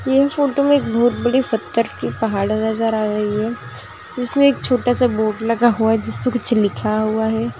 यह फोटो में एक बहुत बड़ी पत्थर की पहाड़ नज़र आ रही है जिसमे एक छोटासा बोर्ड लगा हुआ है जिस पे कुछ लिखा हुआ है।